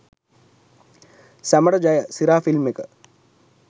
සැමට ජය! සිරා ෆිල්ම් ඒක